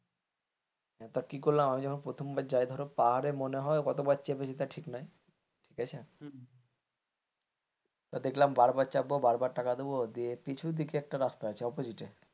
তো কি করলাম আমি যখন প্রথম বার যাই ধরো পাহাড়ে মনে হয় কতবার চেপেছে ঠিক নাই ঠিক আছে তো দেখলাম বারবার চাপবো বারবার টাকা দেবো পিছু দিকে একটা রাস্তা আছে opposite.